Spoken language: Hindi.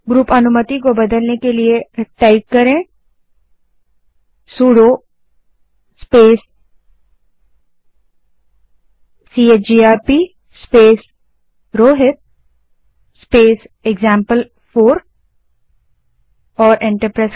ग्रुप अनुमति को बदलने के लिए command sudo space chgrp space Rohit space example four type करें और एंटर दबायें